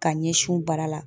Ka ɲɛsin u bara la